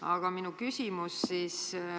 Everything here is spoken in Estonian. Aga minu küsimus on selline.